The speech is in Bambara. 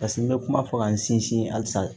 Paseke n bɛ kuma fɔ ka n sinsin halisa